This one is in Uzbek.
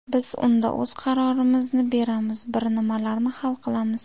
Biz unda o‘z qarorimizni beramiz, bir nimalarni hal qilamiz.